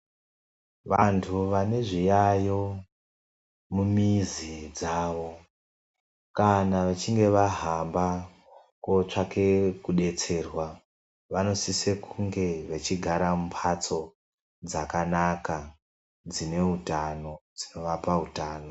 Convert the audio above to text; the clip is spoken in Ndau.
Vantu vane zviyayo mumizi dzavo kana vechinge vahamba kotsvake kubetserwa, vanosise kunge vechigara mumhatso dzakanaka dzinovape utano.